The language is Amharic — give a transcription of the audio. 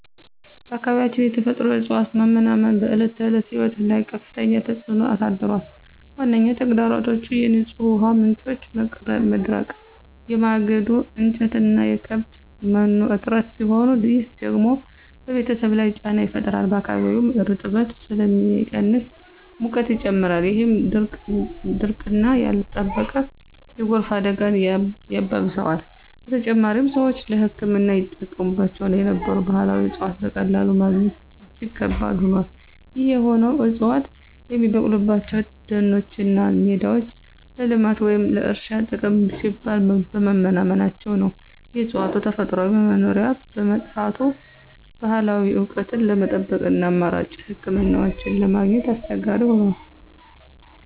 በአካባቢያችን የተፈጥሮ እፅዋት መመናመን በዕለት ተዕለት ሕይወት ላይ ከፍተኛ ተጽዕኖ አሳድሯል። ዋነኛ ተግዳሮቶቹ የንጹህ ውሃ ምንጮች መድረቅ፣ የማገዶ እንጨትና የከብት መኖ እጥረት ሲሆኑ፣ ይህ ደግሞ በቤተሰብ ላይ ጫና ይፈጥራል። በአካባቢውም እርጥበት ስለሚቀንስ ሙቀት ይጨምራል፣ ይህም ድርቅና ያልተጠበቀ የጎርፍ አደጋን ያባብሰዋል። በተጨማሪም፣ ሰዎች ለሕክምና ይጠቀሙባቸው የነበሩ ባህላዊ እፅዋትን በቀላሉ ማግኘት እጅግ ከባድ ሆኗል። ይህ የሆነው ዕፅዋቱ የሚበቅሉባቸው ደኖችና ሜዳዎች ለልማት ወይም ለእርሻ ጥቅም ሲባል በመመናመናቸው ነው። የእፅዋቱ ተፈጥሯዊ መኖሪያ በመጥፋቱ፣ ባህላዊ እውቀትን ለመጠበቅና አማራጭ ሕክምናዎችን ለማግኘት አስቸጋሪ ሆኗል።